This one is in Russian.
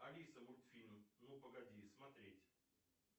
алиса мультфильм ну погоди смотреть